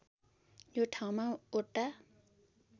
यो ठाउँमा वटा